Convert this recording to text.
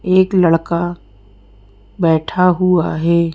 एक लड़का बैठा हुआ है।